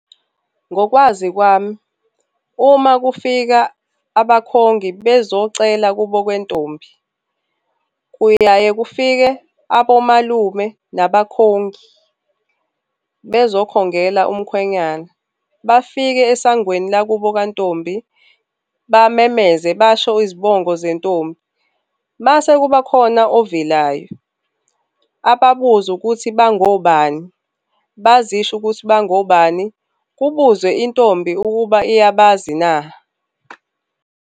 Ngokwazi kwami, uma kufika abakhongi bezocela kubo kwentombi, kuyaye kufike abomalume nabakhongi bezokhongela umkhwenyana. Bafike esangweni lakubo kantombi, bamemeze basho izibongo zentombi. Mase kubakhona ovelayo, ababuze ukuthi bangobani, bazisho ukuthi bangobani, kubuzwe intombi ukuba iyabazi na.